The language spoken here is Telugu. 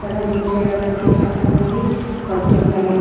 ఇక్కడ జిమ్ చేయడానికి చాలామంది వస్తుంటారు.